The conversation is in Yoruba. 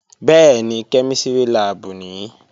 Bẹ́ẹ̀ni, kẹ́mísìrì láàbù nìí